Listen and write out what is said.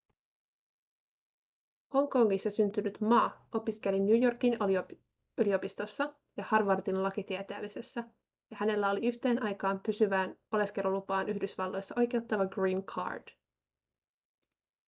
hongkongissa syntynyt ma opiskeli new yorkin yliopistossa ja harvardin lakitieteellisessä ja hänellä oli yhteen aikaan pysyvään oleskelulupaan yhdysvalloissa oikeuttava green card